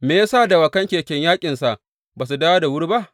Me ya sa dawakan keken yaƙinsa ba su dawo da wuri ba?’